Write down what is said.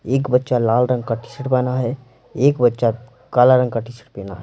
एक बच्चा लाल रंग का टी_शर्ट बना पहना है एक बच्चा काला रंग का टी_शर्ट पेहना है।